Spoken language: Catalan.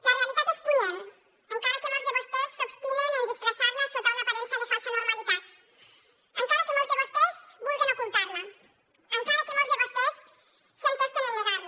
la realitat és punyent encara que molts de vostès s’obstinen en disfressarla sota una aparença de falsa normalitat encara que molts de vostès vulguen ocultarla encara que molts de vostès s’entesten en negarla